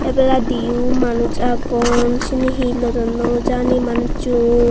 ebeladi oh manus agon seni hi lodonnoi jani manusssun.